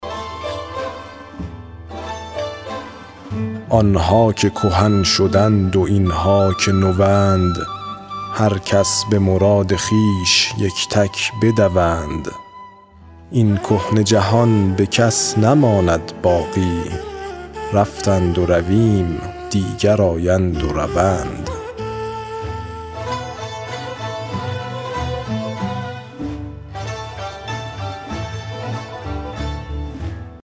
آن ها که کهن شدند و این ها که نوند هر کس به مراد خویش یک تک بدوند این کهنه جهان به کس نماند باقی رفتند و رویم و دیگر آیند و روند